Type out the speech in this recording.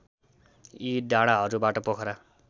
यी डाँडाहरूबाट पोखरा